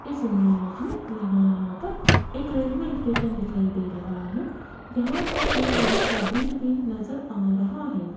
इस इमेज में यहां पर एक रेलवे स्टेशन दिखाई दे रहा है जहां पर एक बड़ा सा ब्रिज भी नजर आ रहा है।